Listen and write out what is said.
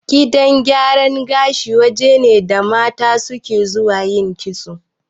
Gidan gyaran gashi waje ne da mata suke zuwa yin kitso